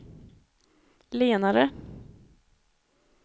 lenare